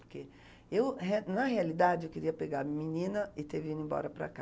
Porque eu, re, na realidade, eu queria pegar a menina e ter vindo embora para cá.